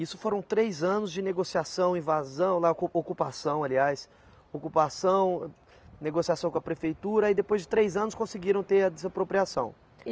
Isso foram três anos de negociação, invasão, lá, ocupação aliás, ocupação, negociação com a prefeitura e depois de três anos conseguiram ter a desapropriação.